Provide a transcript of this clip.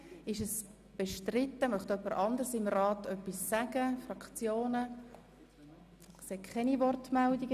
Wird der Antrag der Regierung aus dem Rat bestritten, gibt es Wortmeldungen?